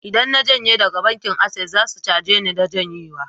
Idan na janye daga bankin Access, sai su caje ni na janyewa